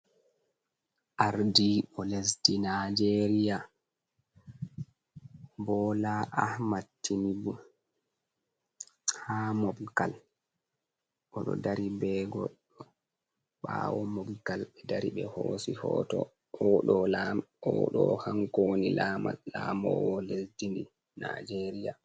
Ardi bo lesdi naijeria bola amat tinibu, ha mobgal oɗo dari be godɗo ɓawo mobgal ɓe dari ɓe hosi hoto, oɗo hank woni lamowo lesdi nijeria.